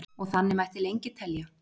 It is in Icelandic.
og þannig mætti lengi telja